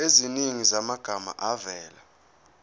eziningi zamagama avela